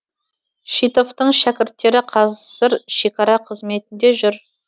шитовтың шәкірттері қазір шекара қызметінде жүр